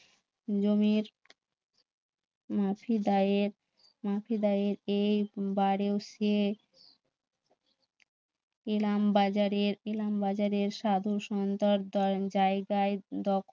জমির এ বারেও সে এলাম বাজারের এলাম বাজারের সাধু সন্ত জায়গায় উম দখল